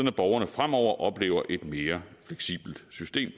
at borgerne fremover oplever et mere fleksibelt system